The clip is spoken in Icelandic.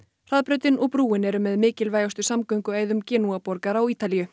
hraðbrautin og brúin eru með mikilvægustu samgönguæðum Genúa borgar á Ítalíu